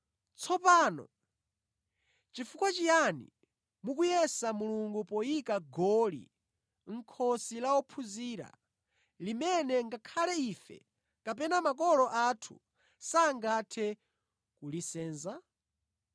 Tsopano, chifukwa chiyani mukuyesa Mulungu poyika goli mʼkhosi la ophunzira, limene ngakhale ife kapena makolo athu sangathe kulisenza?